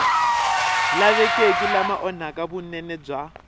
lavekeki lama onhaka vunene bya